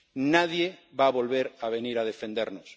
Nadie va a volver a venir a defendernos.